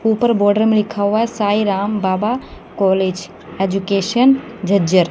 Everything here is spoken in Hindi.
ऊपर बॉर्डर में लिखा हुआ है साईं राम बाबा कॉलेज एजुकेशन झज्जर।